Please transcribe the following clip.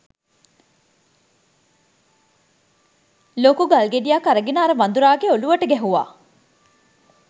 ලොකු ගල්ගෙඩියක් අරගෙන අර වඳුරාගේ ඔළුවට ගැහුවා.